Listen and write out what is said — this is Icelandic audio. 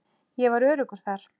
Ég var öruggur þar.